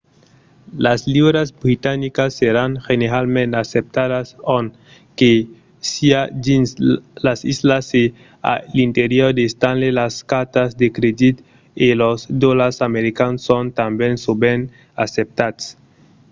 las liuras britanicas seràn generalament acceptadas ont que siá dins las islas e a l'interior de stanley las cartas de crèdit e los dolars americans son tanben sovent acceptats